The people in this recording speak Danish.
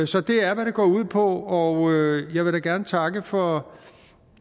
så det er hvad det går ud på og jeg vil da gerne takke for